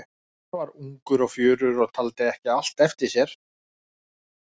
Hann var ungur og fjörugur og taldi ekki allt eftir sér.